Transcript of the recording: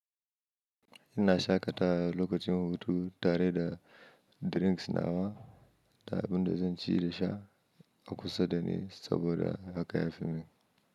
Ina shaƙata lokacin hutu tare da drinks nawa da abin da zan ci da sha a kusa da ni saboda haka ya fi mini.